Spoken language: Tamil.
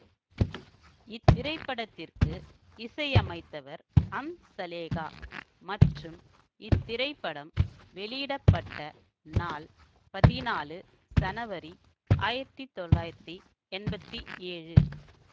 இத்திரைப்படத்திற்கு இசையமைத்தவர் ஹம்சலேகா மற்றும் இத்திரைப்படம் வெளியிட பட்ட நாள் பதினாலு சனவரி ஆயிரத்தி தொள்ளாயிரத்தி எம்பத்தி ஏழு